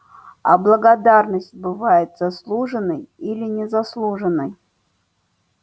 а благодарность бывает заслуженной или незаслуженной